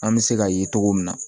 An bɛ se ka ye cogo min na